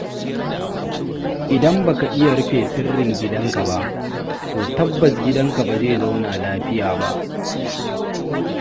Idan baka iya rufe sirrin gidanka ba, to tabbas gidanka ba zai zauna lafiya ba.